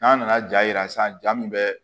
N'an nana ja yira sisan ja min bɛ